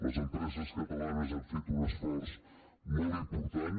les empreses catalanes han fet un esforç molt important